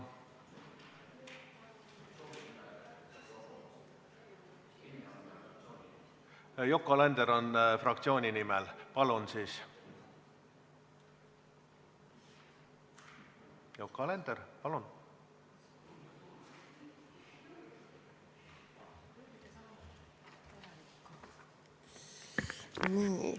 Yoko Alender oma fraktsiooni nimel, palun!